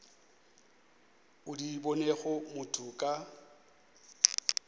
o di bonego motho ka